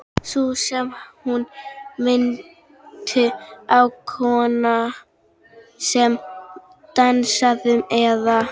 Sú sem hún minnti á, konan sem dansaði, eða.